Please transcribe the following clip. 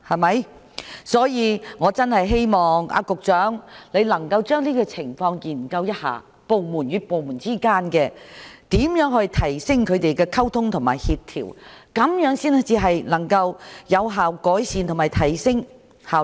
因此，我真的希望局長能夠研究一下這些情況，如何提升部門之間的溝通和協調，這樣才能夠有效改善及提升效率。